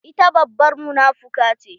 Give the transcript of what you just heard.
Ita babbar munafuka ce.